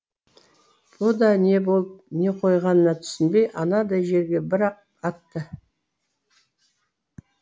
бұ да не болып не қойғанына түсінбей анадай жерге бір ақ атты